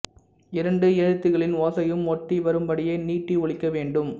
இரண்டு எழுத்துகளின் ஓசையும் ஒட்டி வரும்படியே நீட்டி ஒலிக்க வேண்டும்